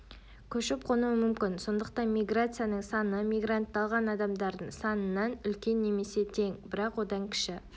көшіп-қонуы мүмкін сондықтан миграцияның саны мигрантталған адамдардың санынан үлкен немесе тең бірақ одан кіші